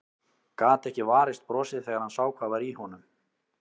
Gat ekki varist brosi þegar hann sá hvað var í honum.